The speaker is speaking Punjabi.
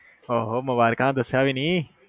ਓਹੋ ਮੁਬਾਰਕਾਂ ਦਸਿਆ ਵੀ ਨੀ